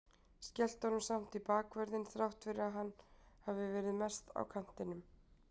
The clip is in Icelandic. Skellti honum samt í bakvörðinn þrátt fyrir að hann hafi verið mest á kantinum.